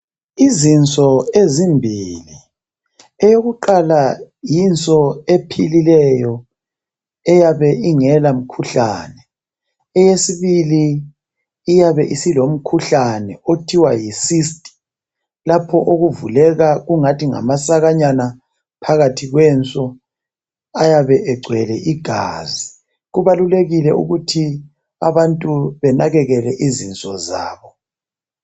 Izinso ezimbili eyakuqala yinso ephilileyo eyabe ingela mkhuhlane eyesibili iyabe isilo mkhuhlane okuthiwa yi sisti lapho okuvuleka ingathi ngamasakanyana phakathi kwenso ayabe egcwele igazi. Kubalulekile ukuthi abantu banakekele izinso zabo.